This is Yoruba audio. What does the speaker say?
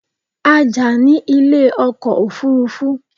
A jà ní ilé ọkọ̀ òfurufú